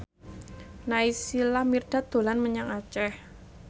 Naysila Mirdad dolan menyang Aceh